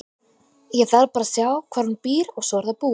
Ég þarf bara að sjá hvar hún býr og svo er það búið.